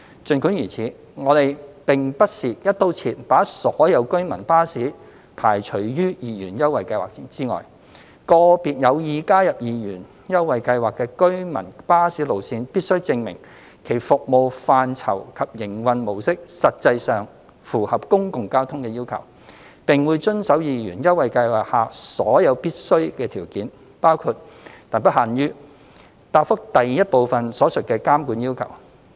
儘管如此，我們並不是"一刀切"把所有居民巴士排除於二元優惠計劃之外，個別有意加入二元優惠計劃的居民巴士路線必須證明其服務範疇及營運模式實際上符合"公共交通"的要求，並會遵守二元優惠計劃下所有必須的條件，包括答覆第一部分所述的監管要求。